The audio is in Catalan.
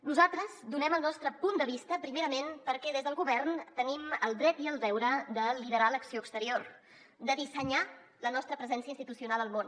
nosaltres donem el nostre punt de vista primerament perquè des del govern tenim el dret i el deure de liderar l’acció exterior de dissenyar la nostra presència institucional al món